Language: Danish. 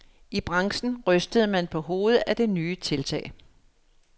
I branchen rystede man på hovedet af det nye tiltag.